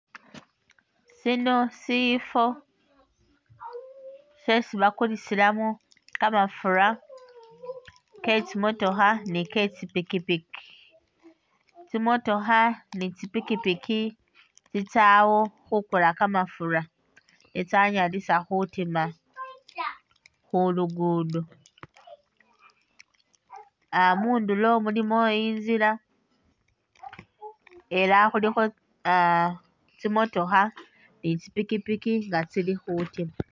Sino sifo shesi bakulisilamo kamafura ketsi motokha ni'tsi pikipiki tsi'motokha ni tsi'pikipiki tsitsawo khukula kamafura netsanyalisa khutima khu'luguddo ah mundulo mulimo intsila elah khulikho ah tsi'motokha ni tsi'pikipiki nga tsili khutima